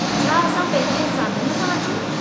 छा असां पंहिंजे साधन सां अचूं?